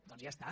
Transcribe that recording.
doncs ja està